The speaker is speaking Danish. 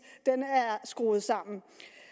er skruet sammen